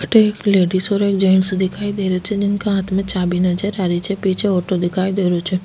अठे एक लेडिस और एक जेन्स दिखाई दे रहे छे जिनका हाथ में चाबि नजर आ री छे पीछे ऑटो दिखाई दे रो छे।